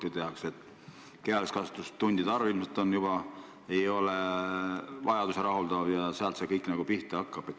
Eestis ei rahulda meid kehalise kasvatuse tundide arv ilmselgelt ja sealt see kõik pihta hakkab.